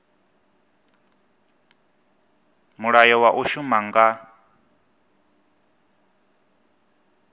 mulayo wa u shuma nga